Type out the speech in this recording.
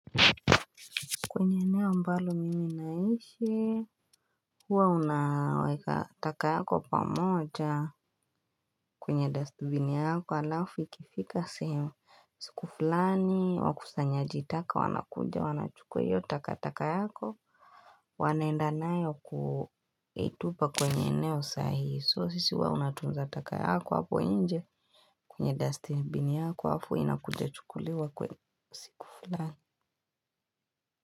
Kwenye eneo ambalo mimi naishi, huwa unaweka taka yako pamoja? Kwenye dustbin yako alafu ikifika sehem. Siku fulani, wakusanyajitaka, wanakuja, wanachukua hiyo takataka yako, wanaenda nayo kuitupa kwenye eneo sahihi, so sisi huwa unatunza taka yako hapo nje kwenye dustbin yako hapo inakuja chukuliwa kwa siku fulani.